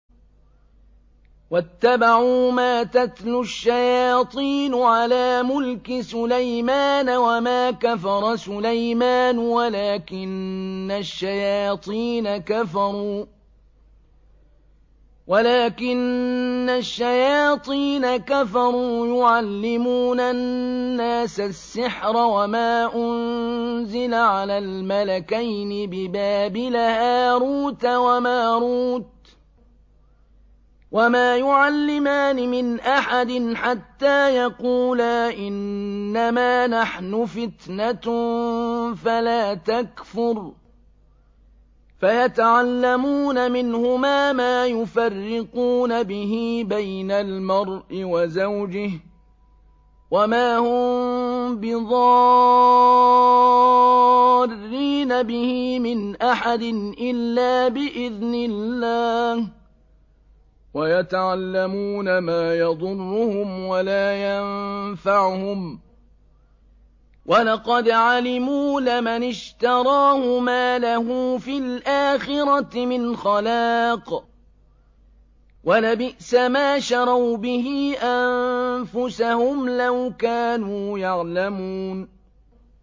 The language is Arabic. وَاتَّبَعُوا مَا تَتْلُو الشَّيَاطِينُ عَلَىٰ مُلْكِ سُلَيْمَانَ ۖ وَمَا كَفَرَ سُلَيْمَانُ وَلَٰكِنَّ الشَّيَاطِينَ كَفَرُوا يُعَلِّمُونَ النَّاسَ السِّحْرَ وَمَا أُنزِلَ عَلَى الْمَلَكَيْنِ بِبَابِلَ هَارُوتَ وَمَارُوتَ ۚ وَمَا يُعَلِّمَانِ مِنْ أَحَدٍ حَتَّىٰ يَقُولَا إِنَّمَا نَحْنُ فِتْنَةٌ فَلَا تَكْفُرْ ۖ فَيَتَعَلَّمُونَ مِنْهُمَا مَا يُفَرِّقُونَ بِهِ بَيْنَ الْمَرْءِ وَزَوْجِهِ ۚ وَمَا هُم بِضَارِّينَ بِهِ مِنْ أَحَدٍ إِلَّا بِإِذْنِ اللَّهِ ۚ وَيَتَعَلَّمُونَ مَا يَضُرُّهُمْ وَلَا يَنفَعُهُمْ ۚ وَلَقَدْ عَلِمُوا لَمَنِ اشْتَرَاهُ مَا لَهُ فِي الْآخِرَةِ مِنْ خَلَاقٍ ۚ وَلَبِئْسَ مَا شَرَوْا بِهِ أَنفُسَهُمْ ۚ لَوْ كَانُوا يَعْلَمُونَ